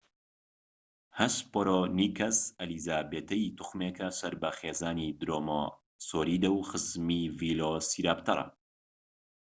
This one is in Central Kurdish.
هەسپەرۆنیکەس ئەلیزابێتەی توخمێکە سەر بە خێزانی درۆماسۆریدە و خزمی ڤیلۆسیراپتەرە